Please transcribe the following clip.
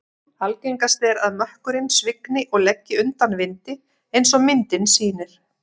Algengast er að mökkurinn svigni og leggi undan vindi eins og myndin sýnir.